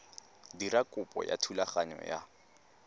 dira kopo ya thulaganyo ya